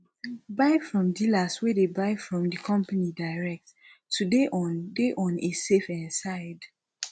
buy from dealers wey de buy from di company direct to de on de on a safe um side